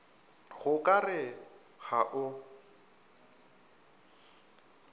go ka re ga o